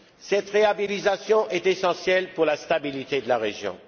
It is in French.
Cette réhabilitation est essentielle pour la stabilité de la région.